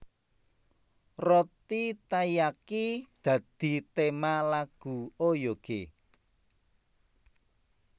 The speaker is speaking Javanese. Roti taiyaki dadi tema lagu Oyoge